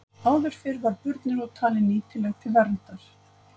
Áður fyrr var burnirót talin nýtileg til verndar.